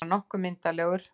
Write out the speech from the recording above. Bara nokkuð myndarlegur.